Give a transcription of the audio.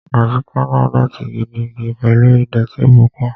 Àyíká náà dọ̀ọ̀tí gidigidi pẹ̀lú ìdọ̀ọ̀tí pupa